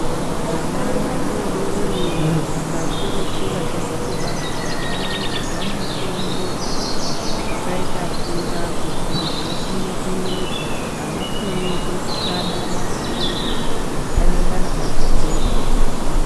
Vana vadodori va kakurutu vachabva kubarwa vanoisirwa mutombo, wakaita mvura kuitire kuti vakone kumedza. Avakoni kusvada maphirizi, anengana akakura pahuro pavo.